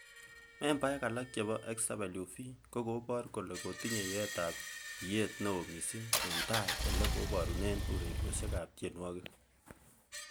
Membaek alak chebo SWV,ko kobor kole kotiny yeetab iyet neo missing en tai ele kiborunen ureriosiekab tienwogik.